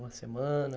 Uma semana?